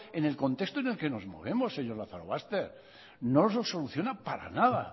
en el contexto en el que nos movemos señor lazarobaster no lo soluciona para nada